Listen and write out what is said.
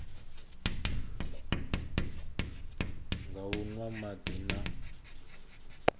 nga u nwa madi na